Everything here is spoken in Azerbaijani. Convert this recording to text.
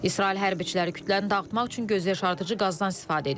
İsrail hərbçiləri kütləni dağıtmaq üçün gözyaşardıcı qazdan istifadə edib.